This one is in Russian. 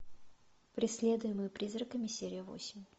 преследуемый призраками серия восемь